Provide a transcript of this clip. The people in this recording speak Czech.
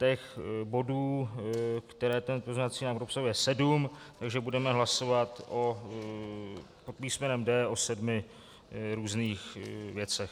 Těch bodů, které ten pozměňovací návrh obsahuje, je sedm, takže budeme hlasovat pod písmenem D o sedmi různých věcech.